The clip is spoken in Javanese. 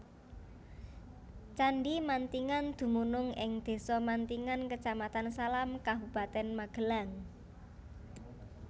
Candhi Mantingan dumunung ing Desa Mantingan Kecamatan Salam Kabupatèn Magelang